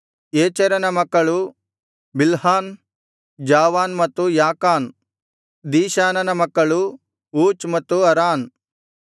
ಏಚೆರನ ಮಕ್ಕಳು ಬಿಲ್ಹಾನ್ ಜಾವಾನ್ ಮತ್ತು ಯಾಕಾನ್ ದೀಶಾನನ ಮಕ್ಕಳು ಊಚ್ ಮತ್ತು ಅರಾನ್